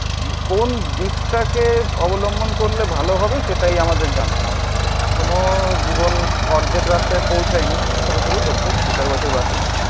কোন দিকটাকে অবলম্বন করলে ভালো হবে সেটাই আমাদের জানতে হবে এখনো জীবন অর্ধেক রাস্তায় পৌঁছায়নি. সবে সবে করছে. দু চার বছর বাকি.